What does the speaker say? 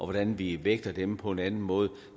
hvordan vi vægter dem på en anden måde